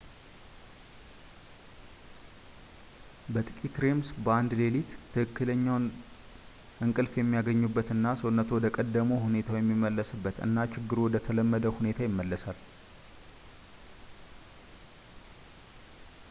በጥቂት ሬምስ በአንድ ሌሊት ትክክለኛውን እንቅልፍ የሚያገኙበት እና ሰውነትዎ ወደ ቀድሞ ሁኔታቸው የሚመለስበት እና ችግሩ ወደ ተለመደ ሁኔታ ይመለሳል